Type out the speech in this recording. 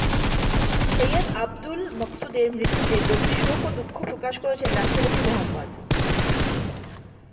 সৈয়দ আবুল মকসুদের মৃত্যুতে গভীর শোক ও দুঃখ প্রকাশ করেছেন রাষ্ট্রপতি মো